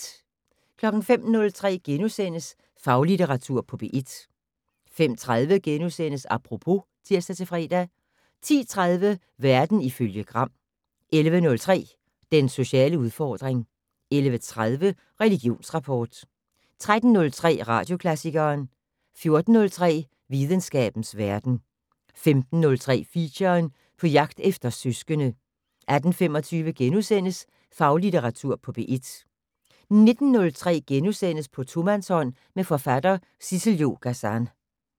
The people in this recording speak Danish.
05:03: Faglitteratur på P1 * 05:30: Apropos *(tir-fre) 10:03: Verden ifølge Gram 11:03: Den sociale udfordring 11:30: Religionsrapport 13:03: Radioklassikeren 14:03: Videnskabens verden 15:03: Feature: På jagt efter søskende 18:25: Faglitteratur på P1 * 19:03: På tomandshånd med forfatter Sissel-Jo Gazan *